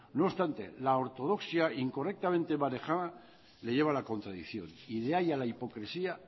no obstante la ortodoxia incorrectamente manejada le lleva a la contradicción y de ahí a la hipocresía